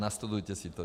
Nastudujte si to.